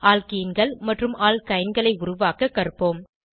ஆல்கீன்கள் மற்றும் ஆல்கைன்களை உருவாக்க கற்போம்